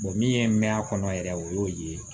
min ye mɛ a kɔnɔ yɛrɛ o y'o ye